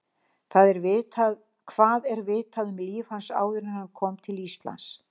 Hvað er vitað um líf hans áður en hann kom til Íslands?